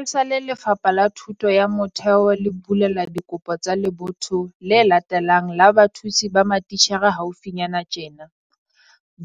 Esale Lefapha la Thuto ya Motheo le bulela dikopo tsa lebotho le latelang la bathusi ba matitjhere haufinyana tjena,